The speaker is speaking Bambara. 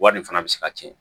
Wari fana bɛ se ka tiɲɛ